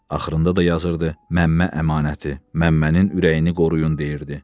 axırında da yazırdı Məmmə əmanəti, Məmmənin ürəyini qoruyun deyirdi.